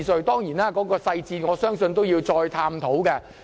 當然，我相信當中細節有待探討。